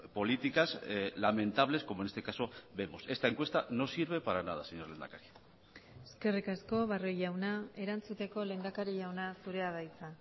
políticas lamentables como en este caso vemos esta encuesta no sirve para nada señor lehendakari eskerrik asko barrio jauna erantzuteko lehendakari jauna zurea da hitza